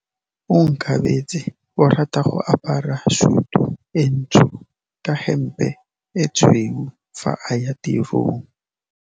Onkabetse o rata go apara sutu e ntsho ka hempe e tshweu fa a ya tirong.